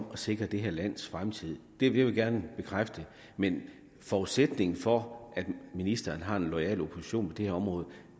at sikre det her lands fremtid det vil jeg gerne bekræfte men forudsætningen for at ministeren har en loyal opposition på det her område